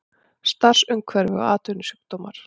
Starfsumhverfi og atvinnusjúkdómar.